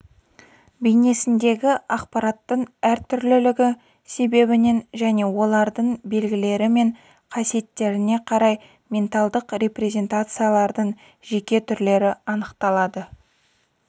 бейнесіндегі ақпараттың әртүрлілігі себебінен және олардың белгілері мен қасиеттеріне қарай менталдық репрезентациялардың жеке түрлері анықталады